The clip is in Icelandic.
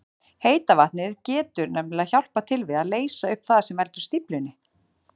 Heita vatnið getur nefnilega hjálpað til við að leysa upp það sem veldur stíflunni.